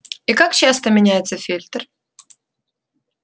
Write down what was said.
и как часто меняется фильтр